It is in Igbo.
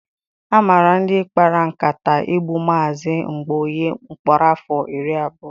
A mara ndị kpara nkata igbu Mazị Mgbaoye mkpọrọ afọ iri abụọ.